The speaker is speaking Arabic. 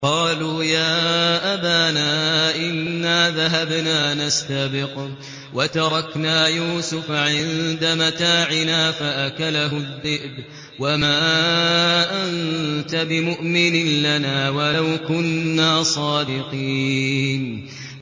قَالُوا يَا أَبَانَا إِنَّا ذَهَبْنَا نَسْتَبِقُ وَتَرَكْنَا يُوسُفَ عِندَ مَتَاعِنَا فَأَكَلَهُ الذِّئْبُ ۖ وَمَا أَنتَ بِمُؤْمِنٍ لَّنَا وَلَوْ كُنَّا صَادِقِينَ